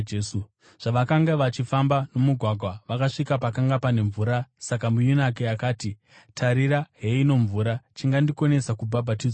Zvavakanga vachifamba nomugwagwa, vakasvika pakanga pane mvura saka muyunaki akati, “Tarirai, heino mvura. Chingandikonesa kubhabhatidzwa chiiko?”